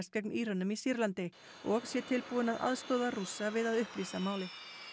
gegn Írönum í Sýrlandi og sé tilbúinn að aðstoða Rússa við að upplýsa málið